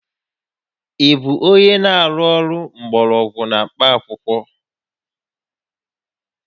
Ị bụ onye na-arụ ọrụ mgbọrọgwụ na mkpaakwụkwọ?